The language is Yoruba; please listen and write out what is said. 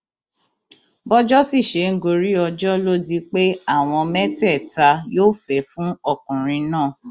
bọjọ sì ṣe ń gorí ọjọ ló di pé àwọn mẹtẹẹta yó fẹẹ fún ọkùnrin náà